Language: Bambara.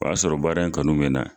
O y'a sɔrɔ baara in kanu mɛ n na.